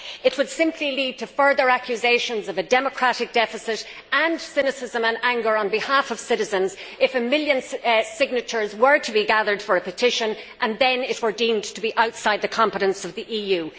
It would simply lead to further accusations of a democratic deficit and cynicism and anger on behalf of citizens if a million signatures were to be gathered for a petition and then it were deemed to be outside the competence of the EU.